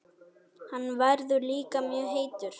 Hann verður líka mjög heitur.